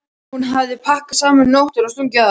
Hún hafði pakkað saman um nóttina og stungið af.